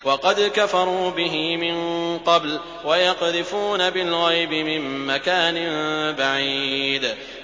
وَقَدْ كَفَرُوا بِهِ مِن قَبْلُ ۖ وَيَقْذِفُونَ بِالْغَيْبِ مِن مَّكَانٍ بَعِيدٍ